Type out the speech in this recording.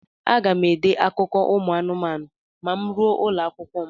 Aga m ede akụkọ ụmụ anụmanụ ma m ruo ụlọakwụkwọ m.